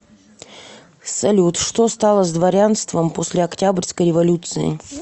салют что стало с дворянством после октябрьской революции